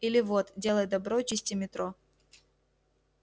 или вот делай добро чисти метро